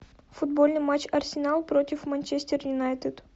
футбольный матч арсенал против манчестер юнайтед